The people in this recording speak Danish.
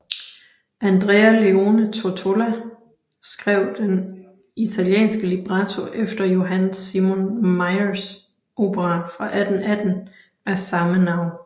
Andrea Leone Tottola skrev den italienske libretto efter Johann Simon Mayrs opera fra 1818 af samme navn